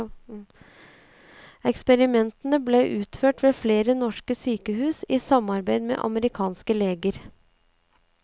Eksperimentene ble utført ved flere norske sykehus i samarbeid med amerikanske leger.